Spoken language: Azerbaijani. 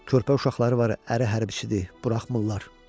Körpə uşaqları var, əri hərbiçidir, buraxmırlar.